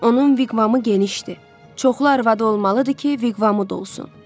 Onun viqvamı genişdir, çoxlu arvadı olmalıdır ki, viqvamı da olsun.